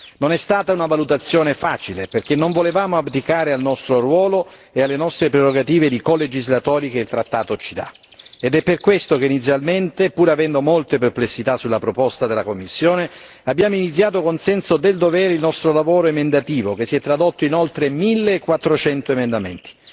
Non è stata una valutazione facile, perché non volevamo abdicare al nostro ruolo e alle nostre prerogative di colegislatori che il trattato ci dà ed è per questo che inizialmente, pur avendo molte perplessità sulla proposta della Commissione, abbiamo iniziato con senso del dovere il nostro lavoro emendativo, che si è tradotto inoltre in 1400 emendamenti.